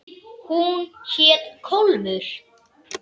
Hún hét Kólfur.